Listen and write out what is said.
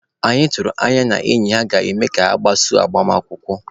Anyị tụrụ anya n'enyi ha na-eme ga-agbaso agbamakwụkwọ.